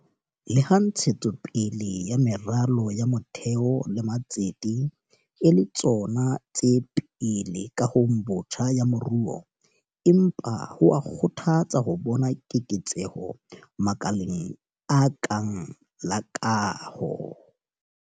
Leha ntshetso pele ya meralo ya motheo le matsete e le tsona tse pele kahong botjha ya moruo, empa ho a kgothatsa ho bona keketseho makaleng a kang la kaho.